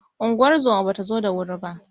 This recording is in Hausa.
Ungozomar bata zo da wuri ba.